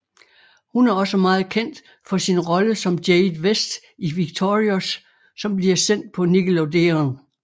Hun er også meget kendt for sin rolle som Jade West i Victorious som bliver sendt på Nickelodeon